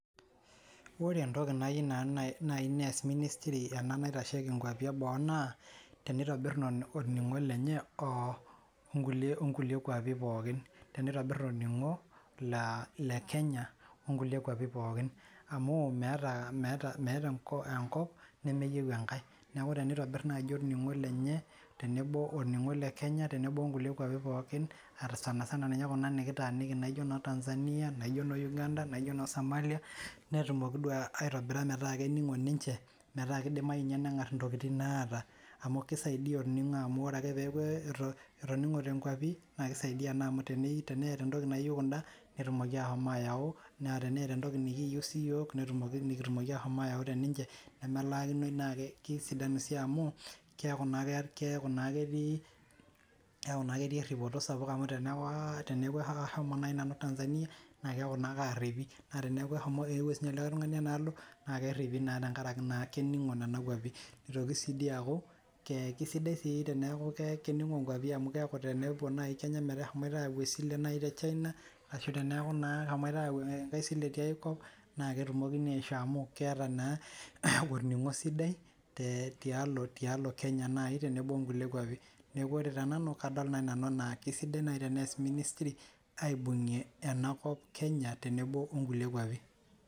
Ore entoki nayiu nanu naii neas ministry ena naitashoki inkwapin eboo naa teneitobirr olning'oo lenye oonkulie kwapin pookin teneitobirr olning'o le Kenya oonkulie kwapin pookin amu meeta enkop nemeyieu enkae neeku teneitobirr naji olning'o lenye tenebo olningo le Kenya oolningo loonkulie kwapin pookin atasanisana ninye kuna nikitaanini naijo noo Tanzania naijo noo Uganda naijo noo Somali netumoki duoo aitobira metaa kening'o ninche metaa keidimayu inye naaji nengar intokiting naata amu keisaidia orningo amuu oree akee peyaku etoningote inkwain naa keisaidia naa amu teneeta entoki nayieu kundaa netumoku ashomo ayau naa teneeta entoki nikiyieu siiyiok nikitumoki ashomo ayau teninche nemelaakinnoi naa keisidanu sii amu keeku naa keti eripoto amu teneaku ashumo nayii nanu Tanzania naa keyaku naa kaaripi naa teneaku aauwo sinye likae tungani ena alo naa keripi naa tenkaraki naa kening'o nena kwapin ilotuu siyie you aaku kesidai sii teneyakunkening'o inkwapin keeku tenepuo nayii Kenya peeshomoita ayau esile tee China ashu teneeku naa eshomoita ayau enkae sile tiai kop naa ketumokini aishoo amu keeta naa olning'o sidai tialo Kenya nayii oonkulie kwapi neeku ore tenanu kadol nayii enaa keisidai teeneas ministry aibung'ie ena kop Kenya teneboo oo nkulie kwapin.